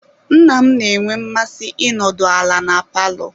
Nna m na-enwe mmasị ịnọdụ ala na palọ.